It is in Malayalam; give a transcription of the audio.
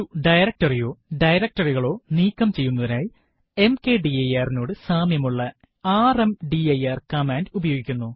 ഒരു directory യോ directory കളോ നീക്കം ചെയ്യുന്നതിനായി mkdir നോട് സാമ്യമുള്ള ർമ്ദിർ കമാൻഡ് ഉപയോഗിക്കുന്നു